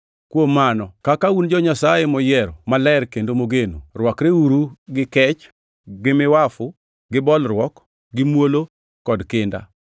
Kuom mano, kaka un jo-Nyasaye moyiero, maler kendo mogeno, rwakreuru gi kech, gi miwafu, gi bolruok, gi muolo, kod kinda.